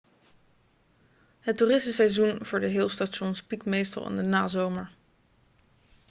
het toeristenseizoen voor de hill stations piekt meestal in de nazomer